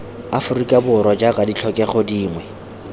aforika borwa jaaka ditlhokego dingwe